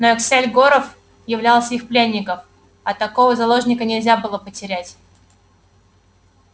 но эскель горов являлся их пленников а такого заложника нельзя было потерять